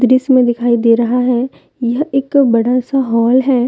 दृश्य में दिखाई दे रहा है यह एक बड़ा सा हॉल है।